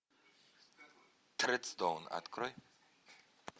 тредстоун открой